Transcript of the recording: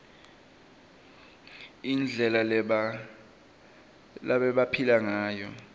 indlela lebabephila ngayo